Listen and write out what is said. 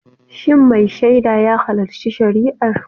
Shin mai shaida ya halarci shari'ar?